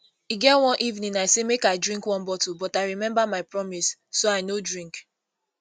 e get one evening i say make i drink one bottle but i remember my promise so i no drink